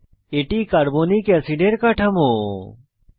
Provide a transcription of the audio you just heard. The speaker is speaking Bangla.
এটি কার্বনিক অ্যাসিডের কাঠামো আঁকা হয়েছে